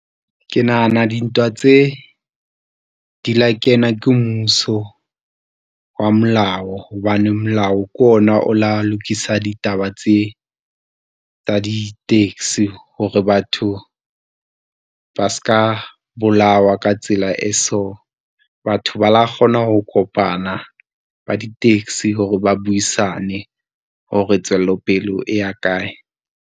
Ke nahana dintwa tse, di la kena ke mmuso wa molao hobane molao kona o la lokisa ditaba tse tsa di-taxi hore batho ba s'ka bolawa ka tsela e so, batho ba lo kgona ho kopana ba di-taxi hore ba buisane hore tswelopelo e ya kae.